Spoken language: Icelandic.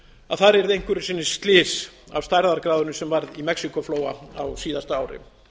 að þar yrði einhverju sinni slys af stærðargráðunni sem var í mexíkóflóa á síðasta ári